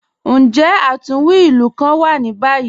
Njẹ́ atunwí ilù kàn wà ní báyì?